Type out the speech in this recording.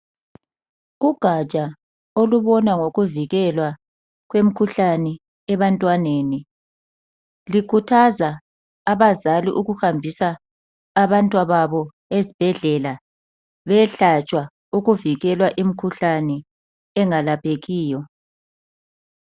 Ugatsha olubona ngokuvikelwa kwemikhuhlane ebantwaneni lukhuthaza abazali ukuhambisa abantwababo ezibhedlela bayehlatshwa bavikele imikhuhlane engelaphekiyo.